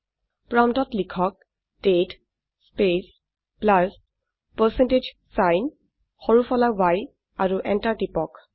প্ৰম্পটত লিখক দাঁতে স্পেচ প্লাছ পাৰচেণ্টেজ ছাইন সৰু ফলা y আৰু এন্টাৰ টিপক